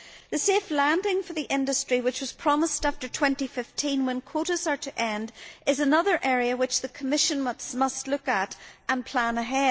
The safe landing for the industry which was promised after 2015, when quotas are to end, is another area which the Commission must look at and plan for.